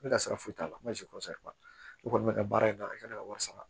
Ne ka sira foyi t'a la n b'a si ne kɔni bɛ ka baara in ta ne ka wari sara